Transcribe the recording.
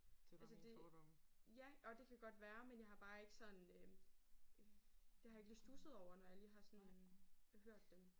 Altså det ja og det kan godt være men jeg har bare ikke sådan øh det har jeg ikke lige studset over når jeg lige har sådan hørt dem